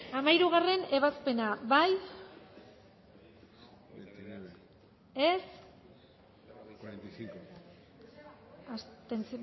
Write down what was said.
hamairugarrena ebazpena bozkatu dezakegu bozketaren